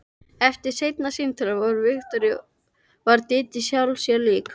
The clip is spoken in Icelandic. Eftir seinna símtalið við Viktoríu varð Dídí sjálfri sér lík.